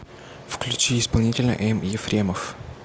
включи исполнителя м ефремов